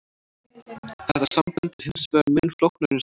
Þetta samband er hins vegar mun flóknara en svo.